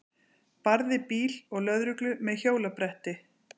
Barði bíl og lögreglu með hjólabretti